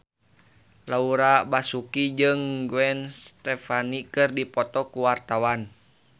Laura Basuki jeung Gwen Stefani keur dipoto ku wartawan